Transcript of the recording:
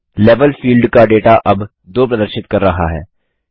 level field का data अब 2 प्रदर्शित कर रहा है